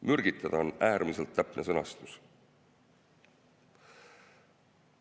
"Mürgitada" on äärmiselt täpne sõnastus.